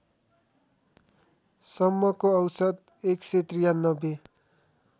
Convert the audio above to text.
सम्मको औसत १९३